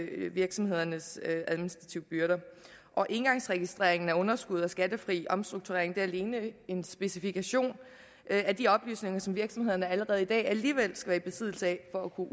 virksomhedernes administrative byrder og engangsregistreringen af underskud og skattefri omstrukturering er alene en specifikation af de oplysninger som virksomhederne allerede i dag alligevel skal være i besiddelse af for at kunne